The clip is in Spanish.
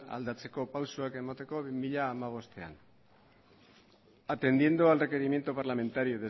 aldatzeko pausuak emateko bi mila hamabostean atendiendo al requerimiento parlamentario